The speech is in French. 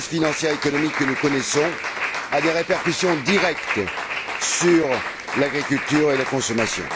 La crise financière et économique que nous connaissons a des répercussions directes sur l'agriculture et la consommation.